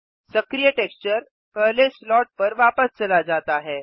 सक्रिय टेक्सचर पहले स्लॉट पर वापस चला जाता है